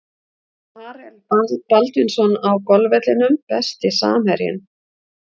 Marel Baldvinsson á golfvellinum Besti samherjinn?